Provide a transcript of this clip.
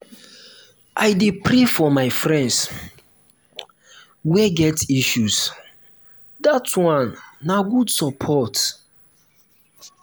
i dey pray for my friends wey get issues dat one na good support.